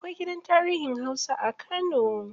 Akwai gidan tarihin hausa a kano.